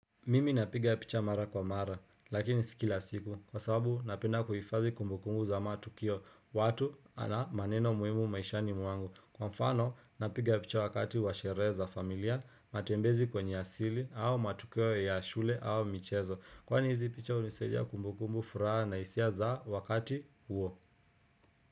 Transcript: Mimi napiga picha mara kwa mara lakini sikila siku kwa sababu napenda kuhifazi kumbukumbu za matukio watu ana maneno muimu maishani mwangu kwa mfano napiga picha wakati washereza familia matembezi kwenye asili au matukio ya shule au michezo kwani hizi picha unisaidia kumbukumbu furaha na isia za wakati huo.